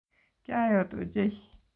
Kyayot ochei